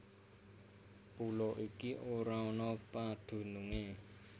Pulo iki ora ana padunungé